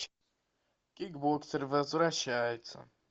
кикбоксер возвращается